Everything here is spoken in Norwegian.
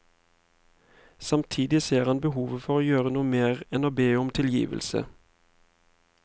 Samtidig ser han behovet for å gjøre noe mer enn å be om tilgivelse.